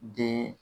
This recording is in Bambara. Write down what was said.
Den